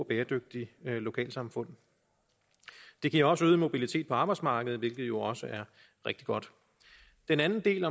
bæredygtige lokalsamfund det giver også øget mobilitet på arbejdsmarkedet hvilket jo også er rigtig godt den anden del